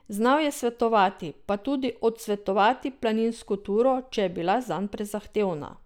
Znal je svetovati, pa tudi odsvetovati planinsko turo, če je bila zanj prezahtevna.